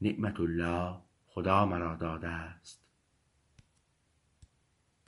نعمت الله خدا مرا داده است